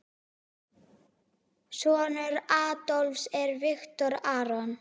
Sonur Adolfs er Viktor Aron.